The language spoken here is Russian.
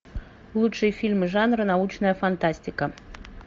лучшие фильмы жанра научная фантастика